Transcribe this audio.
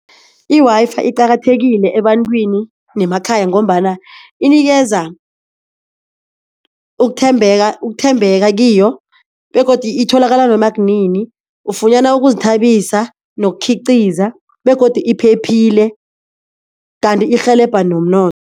I-Wi-Fi iqakathekile ebantwini nemakhaya ngombana inikeza ukuthembeka, ukuthembeka kiyo begodu itholakala noma kunini ufunyana ukuzithabisa nokukhiqiza begodu iphephile kanti irhelebha